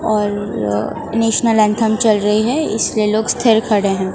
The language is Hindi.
और नेशनल एंथम चल रही है इसलिए लोग स्थिर खड़े हैं।